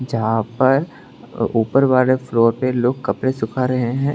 जहां पर ऊपर वाले फ्लोर पे लोग कपड़े सुखा रहे हैं।